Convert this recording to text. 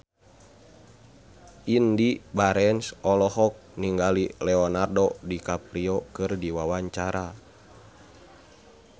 Indy Barens olohok ningali Leonardo DiCaprio keur diwawancara